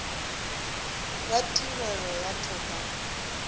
ya tirelo ya toka e